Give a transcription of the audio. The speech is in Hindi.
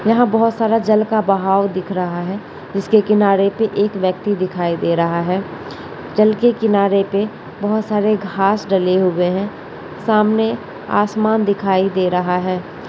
यहाँ बहुत सारा जल का बहाव दिख रहा है इसके किनारे पे एक व्यक्ति दिखाई दे रहा है | चल के किनारे पे बहुत सारे घास डले हुए हैं | सामने आसमान दिखाई दे रहा है |